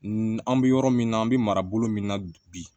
N an bɛ yɔrɔ min na an bɛ mara bolo min na bi